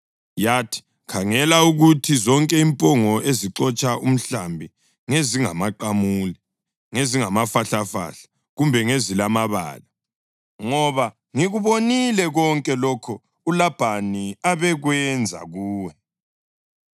Yathi, ‘Khangela ukuthi zonke impongo ezixotsha umhlambi ngezingamaqamule, ngezingamafahlafahla kumbe ngezilamabala, ngoba ngikubonile konke lokho uLabhani abekwenza kuwe.